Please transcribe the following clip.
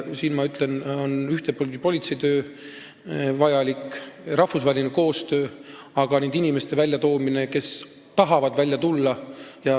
Siin on vajalik politsei töö ja rahvusvaheline koostöö, aga ka nende inimeste sellest olukorrast väljatoomine, kes tahavad sealt välja tulla.